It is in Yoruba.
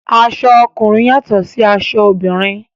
Aṣọ ọkùnrin yàtọ̀ sí aṣọ obìnrin.